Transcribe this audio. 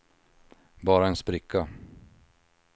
bara en spricka